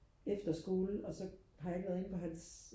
efterskole og så har jeg ikke været inde på hans